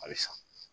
A bɛ san